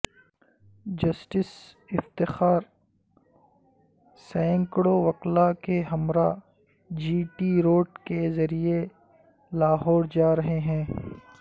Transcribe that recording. justice Iftikhar سینکڑوں وکلاء کے ہمراہ جی ٹی روڈ کے ذریعے لاہور جا رہے ہیں